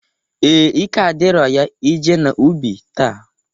Ee, ike adirọ ya ije n'ubi taa.